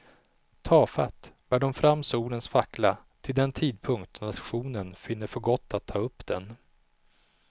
Tafatt bär de fram solens fackla, till den tidpunkt då nationen finner för gott att ta upp den.